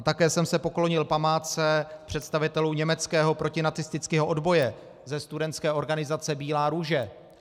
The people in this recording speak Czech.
A také jsem se poklonil památce představitelů německého protinacistického odboje ze studentské organizace Bílá růže.